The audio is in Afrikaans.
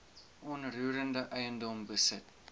onroerende eiendom besit